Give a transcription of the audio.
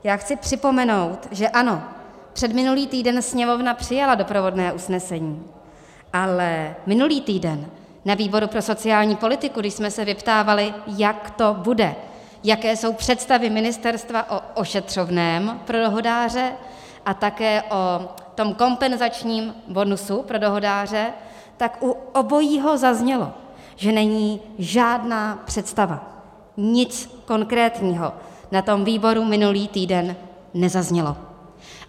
Já chci připomenout, že ano, předminulý týden Sněmovna přijala doprovodné usnesení, ale minulý týden na výboru pro sociální politiku, když jsme se vyptávali, jak to bude, jaké jsou představy ministerstva o ošetřovném pro dohodáře a také o tom kompenzačním bonusu pro dohodáře, tak u obojího zaznělo, že není žádná představa, nic konkrétního na tom výboru minulý týden nezaznělo.